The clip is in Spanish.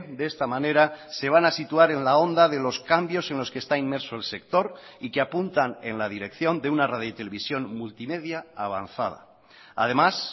de esta manera se van a situar en la onda de los cambios en los que está inmerso el sector y que apuntan en la dirección de una radio televisión multimedia avanzada además